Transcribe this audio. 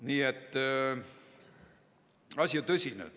Nii et asi on tõsine.